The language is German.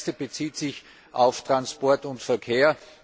Die erste bezieht sich auf Transport und Verkehr.